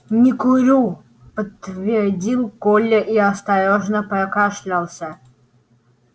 не курю подтвердил коля и осторожно прокашлялся